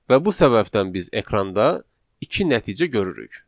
Və bu səbəbdən biz ekranda iki nəticə görürük.